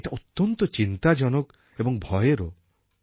এটা অত্যন্ত চিন্তাজনক এবং ভয়েরও